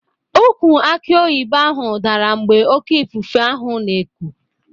Ukwụ aki oyibo ahụ dara mgbe oké ifufe ahụ na-eku.